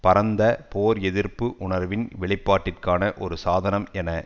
பரந்த போர் எதிர்ப்பு உணர்வின் வெளிப்பாட்டிற்கான ஒரு சாதனம் என